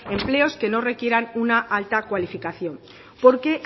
empleos que no requieran una alta cualificación porque